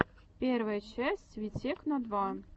первая часть витекно два